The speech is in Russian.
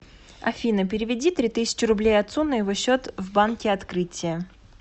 афина переведи три тысячи рублей отцу на его счет в банке открытие